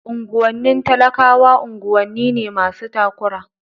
Unguwanni talakawa unguwanni ne masu takura.